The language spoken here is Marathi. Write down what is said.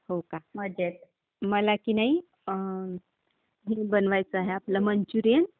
हो का? मजेत. मला की नाही अं हे बनवायचं आहे, आपलं मंचुरीयन.